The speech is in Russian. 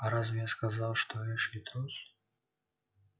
а разве я сказала что эшли трус